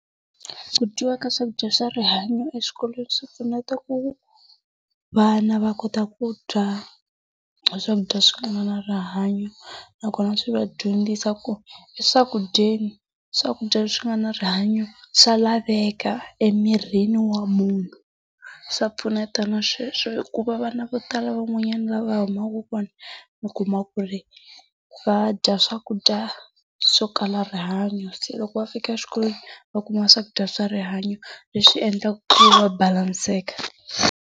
Ku dyiwa ka swakudya swa rihanyo eswikolweni swi pfuneta ku vana va kota ku dya e swakudya leswi nga na rihanyo nakona swi va dyondzisa ku eswakudyeni, swakudya leswi nga na rihanyo swa laveka emirini wa munhu. Swa pfuneta na sweswo hikuva vana vo tala van'wanyana laha va humaka kona u kuma ku ri va dya swakudya swokala rihanyo. Se loko va fika xikolweni va kuma swakudya swa rihanyo, leswi endlaka ku va balanseka.